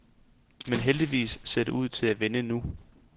Men heldigvis ser det ud til at vende nu.